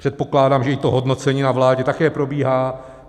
Předpokládám, že i to hodnocení na vládě také probíhá.